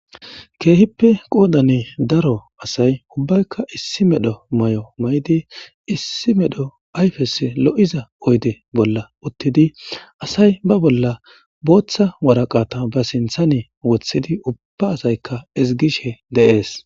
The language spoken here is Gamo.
Keehippe qoodani daro asay ubbaykka issi medho may7o maydi issi medho ayfes lo7iza oyde bolla uttidi asay ba bolla booththa waraqata ba sinthani wothidi ubba asaykka izgishe deees.